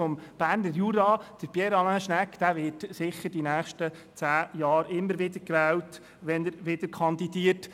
Pierre Alain Schnegg wird sicher die nächsten zehn Jahre immer wieder gewählt, wenn er wieder kandidiert.